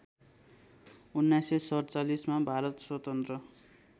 १९४७ मा भारत स्वतन्त्र